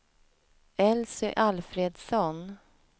Elsy Alfredsson